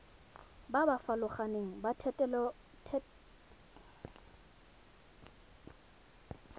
ba ba farologaneng ba thetelelobokgoni